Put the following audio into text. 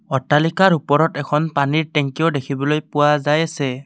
অট্টালিকাৰ ওপৰত এখন পানীৰ টেংকিও দেখিবলৈ পোৱা যায় আছে।